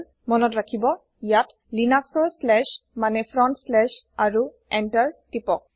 মনত ৰাখিব ইয়াত লিনাক্সৰ শ্লেচ মানে ফ্ৰণ্ট শ্লেচ আৰু এন্টাৰ টিপক